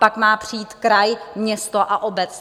Pak má přijít kraj, město a obec.